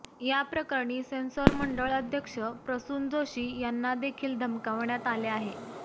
याप्रकरणी सेन्सॉर मंडळ अध्यक्ष प्रसून जोशी यांना देखील धमकाविण्यात आले आहे